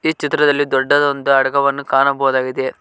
ಈ ಚಿತ್ರದಲ್ಲಿ ದೊಡ್ಡ ಒಂದು ಅಡಗವನ್ನು ಕಾಣಬಹುದಾಗಿದೆ.